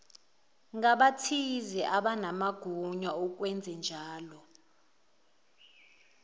ngabathize abanamagunya okwenzenjalo